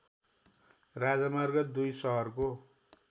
राजमार्ग २ सहरको